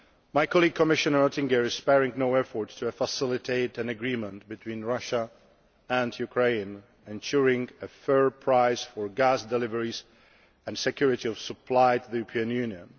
My colleague Commissioner Oettinger is sparing no efforts to facilitate an agreement between Russia and Ukraine ensuring a fair price for gas deliveries and security of supply to the European Union.